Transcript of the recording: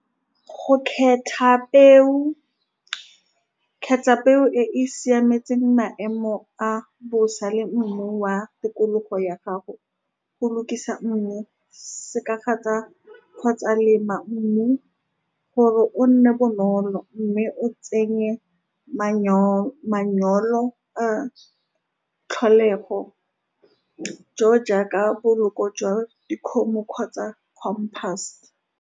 Go khetha peo khetha peo e e siametseng maemo a bosa le mmu wa tikologo ya gago, go lokisa mmu, se ka kgotsa lema mmu gore o nne bonolo, mme o tsenye manure, manyoro a tlholego jo jaaka boloko jwa dikgomo kgotsa compass.